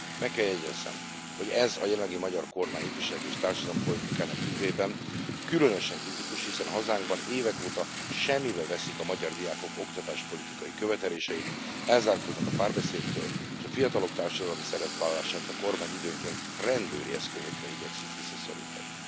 Meg kell jegyezzem, hogy ez a jelenlegi magyar kormány ifjúsági és társadalompolitikájának tükrében különösen kritikus, hiszen hazánkban évek óta semmibe veszik a magyar diákok oktatáspolitikai követeléseit, elzárkóznak a párbeszédtől, és a fiatalok társadalmi szerepvállalását a kormány időnként rendőri eszközökkel igyekszik visszaszorítani.